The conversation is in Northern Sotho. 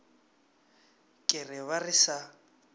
ke re ba re sa